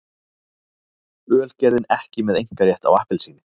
Ölgerðin ekki með einkarétt á appelsíni